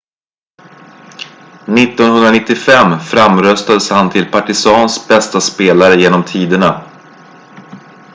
1995 framröstades han till partizans bästa spelare genom tiderna